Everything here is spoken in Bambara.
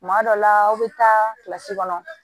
Tuma dɔ la aw bɛ taa kilasi kɔnɔ